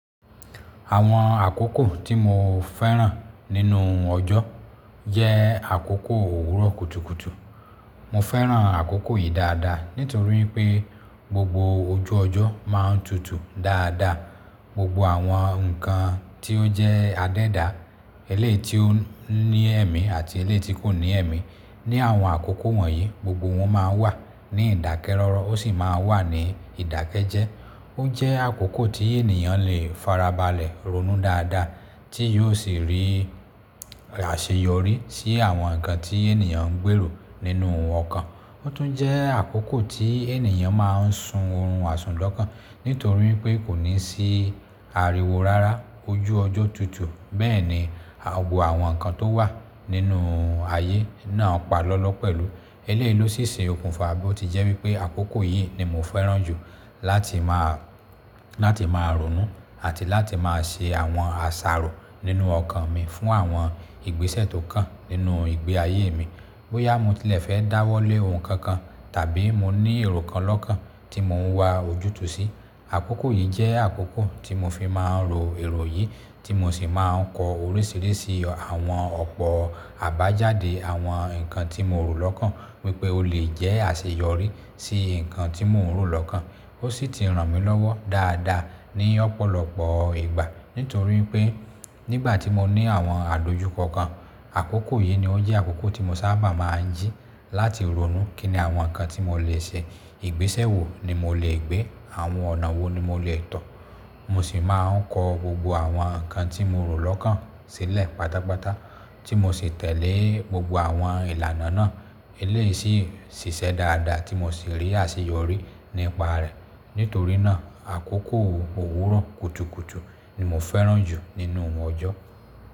Àwọn àkókò tí mo fẹ́ràn nínú ọjọ́ jẹ́ àkókò òwúrọ̀ kùtùkùtù. Mo fẹ́ràn àkókò yìí dáadáa nítorí pé gbogbo ojú ọjọ́ máa ń tutù dáadáa. Gbogbo àwọn nǹkan tí ó jẹ́ adẹ́da, éléyì tí ó ní ẹ̀mí àti éléyì tí kò ní ẹ̀mí ní àwọn àkókò wọ̀nyí gbogbo wọn máa ń wà ní ìdákẹ́rọ́rọ́ ó sì máa ń wà ní ìdákẹ́jẹ́. Ó jẹ́ àkókò tí ènìyàn lè farabalẹ̀ ronú dáadáa tí yóò sì rí àṣeyọrí sí àwọn nǹkan tí ènìyàn ń gbèrò nínú ọkan. Ó tún jẹ́ àkókò tí ènìyàn máa ń sun oorun àsùnlọ́kàn nítorí pé kò ní sí ariwo rárá ojú ọjọ́ tutù. Bẹ́ẹ̀ ni gbogbo àwọn nǹkan tó wà nínú ayé náà pa lọ́lọ́ pẹ̀lú eléyìí ló sì ṣe okùnfà bí ó ti jẹ́ wípé àkókò yìí ni mo fẹ́ràn jù láti máa, láti máa ronú àti láti máa ṣe àwọn àṣàrò nínú ọkàn mi fún àwọn ìgbésẹ̀ tó kàn nínú ìgbé ayé mi. Bóyá mo tilẹ̀ fẹ́ dáwọ́lé ohun kan kan tàbí mo ní èrò kan lọ́kan tí mò ń wà ojútùú sí, àkókò yìí jẹ́ àkókò tí mo fi máa ń ro èrò yìí tí mo sì máa ń kọ oríṣìíríṣìí àwọn ọ̀pọ̀ àbájáde àwọn nǹkan tí mo rò lọ́kàn wípé ó lè jẹ́ àṣeyọrí sí nǹkan tí mo ń rò lọ́kàn. Ó sì ti ràn mí lọ́wọ́ dáadáa ní ọ̀pọ̀lọpọ̀ ìgbà nítorí pé nígbà tí mo ní àwọn àdojúkọ kan, àkókò yìí ni ó jẹ́ àkókò tí mo sábà máa ń jí láti ronú kíni àwọn nǹkan tí mo lè ṣe, ìgbésẹ̀ wo ni mo lè gbé, àwọn ọ̀nà wo ni mo lè tọ̀. Mo sì máa ń kọ gbogbo àwọn nǹkan tí mo rò lọ́kàn sílẹ̀ pátápátá tí mo sì tẹ̀lé gbogbo àwọn ìlànà náà eléyìí sì ṣiṣẹ́ dáadáa tí mo sì rí àṣeyọrí nípa rẹ̀. Nítorí náà àkókò òwúrọ̀ kùtùkùtù ni mo fẹ́ràn jù nínú wọn ọjọ́.